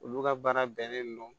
Olu ka baara bɛnnen don